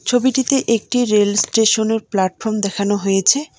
ছবিটিতে একটি রেল স্টেশনের প্ল্যাটফর্ম দেখানো হয়েছে।